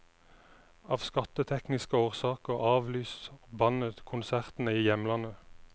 Av skattetekniske årsaker avlyser bandet konsertene i hjemlandet.